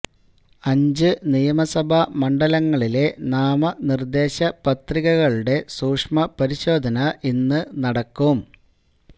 അഞ്ച് നിയമസഭാ മണ്ഡലങ്ങളിലെ നാമനിർദ്ദേശ പത്രികകളുടെ സൂക്ഷ്മ പരിശോധന ഇന്ന് നടക്കും